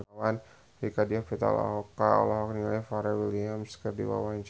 Rieke Diah Pitaloka olohok ningali Pharrell Williams keur diwawancara